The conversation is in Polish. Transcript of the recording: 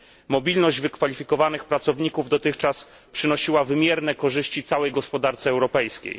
Mobilność wykwalifikowanych pracowników dotychczas przynosiła wymierne korzyści całej gospodarce europejskiej.